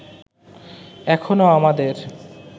এখনো আমাদের